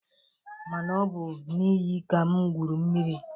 Mana ọ bụ n'iyi ka m gwuru mmiri.